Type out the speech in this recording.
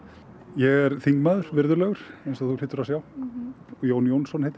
ég er þingmaður virðulegur eins og þú hlýtur að sjá Jón Jónsson heiti